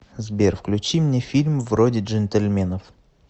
сбер включи мне фильм вроде джентельменов